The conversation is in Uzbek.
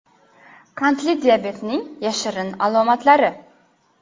Qandli diabetning yashirin alomatlari.